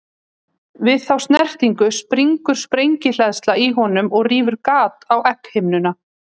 Við þá snertingu springur sprengihleðsla í honum og rýfur gat á egghimnuna.